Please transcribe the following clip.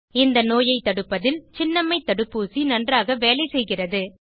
இந்த நோயை தடுப்பதில் சின்னம்மை தடுப்பூசி நன்றாக வேலை செய்கிறது